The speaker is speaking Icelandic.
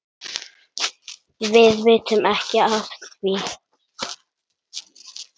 Við vitum ekki af því.